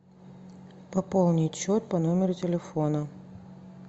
пополнить счет по номеру телефона